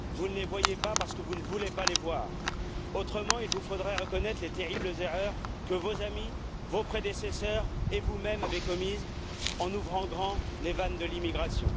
Vous ne les voyez pas parce que vous ne voulez pas les voir, sinon il vous faudrait reconnaître les terribles erreurs que vos amis, vos prédécesseurs et vous mêmes avez commises en ouvrant grand les vannes de l'immigration.